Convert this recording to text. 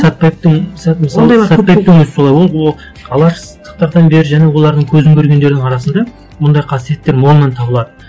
сәтбаевтың мысалы өзі солай болды ол алаштықтардан бері және олардың көзін көргендердің арасында бұндай қасиеттер молынан табылады